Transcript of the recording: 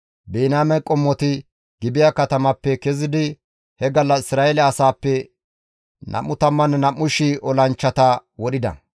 Biniyaame qommoti Gibi7a katamappe kezidi he gallas Isra7eele asaappe 22,000 olanchchata wodhida.